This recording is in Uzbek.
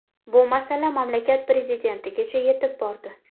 Bu masala mamlakat prezidentigacha yetib bordi.